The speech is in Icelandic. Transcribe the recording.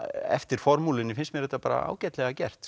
eftir formúlunni finnst mér þetta ágætlega gert